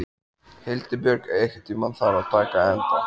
Hildibjörg, einhvern tímann þarf allt að taka enda.